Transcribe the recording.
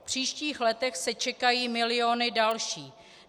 V příštích letech se čekají miliony dalších.